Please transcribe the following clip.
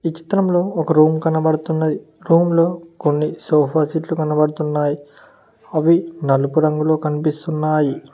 ఈ చిత్రంలో ఒక రూమ్ కనబడుతున్నది. రూమ్ లో కొన్ని సోఫా సెట్లు కనబడుతున్నాయి. అవి నలుపు రంగులో కనిపిస్తున్నాయి.